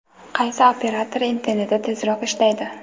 Qaysi operator interneti tezroq ishlaydi?.